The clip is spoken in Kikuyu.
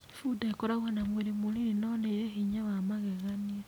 Bunda ĩkoragwo na mwĩrĩ mũnini no nĩ ĩrĩ hinya wa magegania.